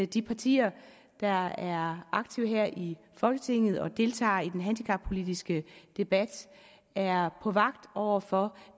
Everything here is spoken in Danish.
de partier der er aktive her i folketinget og deltager i den handicappolitiske debat er på vagt over for